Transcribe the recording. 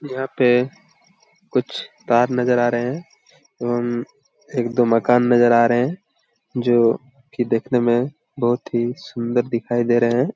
यहां पे कुछ तार नजर आ रहे है एवं एक दो मकान नजर आ रहे है जो की देखने में बहुत ही सुंदर दिखाई दे रहे हैं।